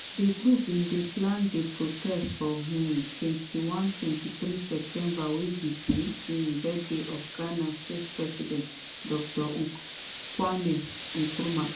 di group bin plan di protest for um 21 - 23 september wey be di um birthday of ghana first president dr kwame nkrumah.